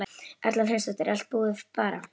Erla Hlynsdóttir: Er allt búið bara?